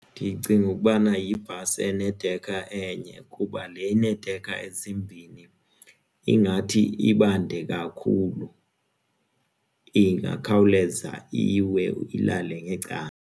Ndicinga ukubana yibhasi enedekha enye kuba le ineedekha ezimbini ingathi ibande kakhulu ingakhawuleza iwe ilale ngecala.